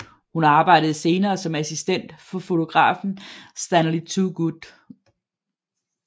Hun arbejdede senere som assistent for fotografen Stanley Toogood